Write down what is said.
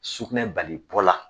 Sugunɛ bali bɔ la.